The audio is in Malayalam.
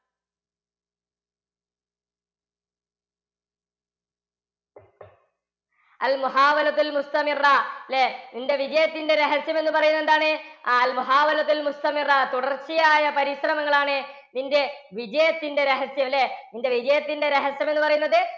അല്ലേ? നിൻറെ വിജയത്തിൻറെ രഹസ്യം എന്നു പറയുന്നത് എന്താണ്? തുടർച്ചയായ പരിശ്രമങ്ങളാണ് നിന്റെ വിജയത്തിൻറെ രഹസ്യം അല്ലേ? നിന്റെ വിജയത്തിൻറെ രഹസ്യം എന്ന് പറയുന്നത്